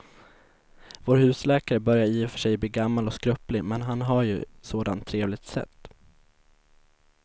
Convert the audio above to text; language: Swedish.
Vår husläkare börjar i och för sig bli gammal och skröplig, men han har ju ett sådant trevligt sätt!